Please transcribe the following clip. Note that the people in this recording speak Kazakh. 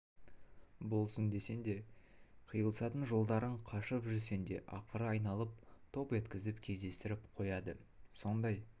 болсын десең де қиылысатын жолдардан қашып жүрсең де ақыры айналып топ еткізіп кездестіріп қояды сондай